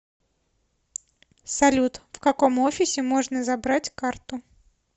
салют в каком офисе можно забрать карту